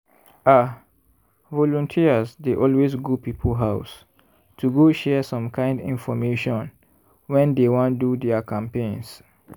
ah! volunteers dey always go people house to go share some kind information when dey wan do their campaigns.